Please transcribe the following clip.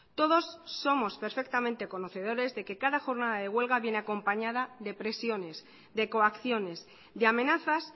todos somos perfectamente conocedores de que cada jornada de huelga viene acompañada de presiones de coacciones de amenazas